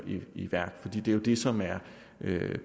i værk det er jo det som er